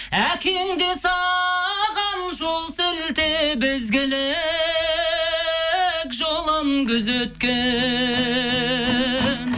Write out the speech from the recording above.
әкең де саған жол сілтеп ізгілік жолын күзеткен